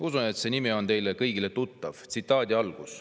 Usun, et see nimi on teile kõigile tuttav.